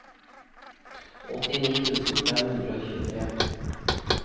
åttini tusen fem hundre og tjuetre